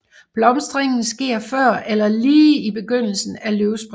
Blomstringen sker før eller lige i begyndelsen af løvspringet